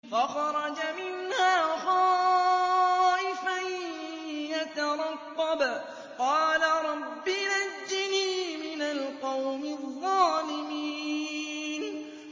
فَخَرَجَ مِنْهَا خَائِفًا يَتَرَقَّبُ ۖ قَالَ رَبِّ نَجِّنِي مِنَ الْقَوْمِ الظَّالِمِينَ